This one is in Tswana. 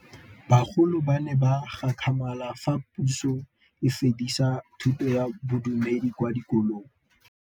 Bagolo ba ne ba gakgamala fa Pusô e fedisa thutô ya Bodumedi kwa dikolong.